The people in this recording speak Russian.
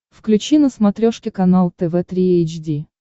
включи на смотрешке канал тв три эйч ди